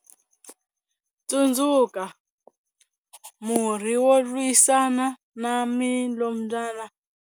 Tsundzuka, murhi wo lwisana na milombyana.